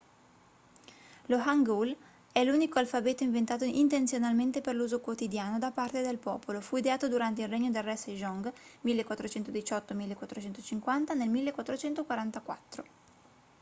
lo hangeul è l'unico alfabeto inventato intenzionalmente per l'uso quotidiano da parte del popolo. fu ideato durante il regno del re sejong 1418-1450 nel 1444